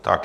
Díky.